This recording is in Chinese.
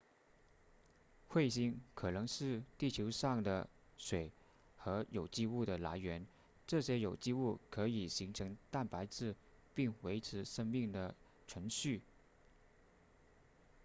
彗星可能是地球上的水和有机物的来源这些有机物可以形成蛋白质并维持生命的存续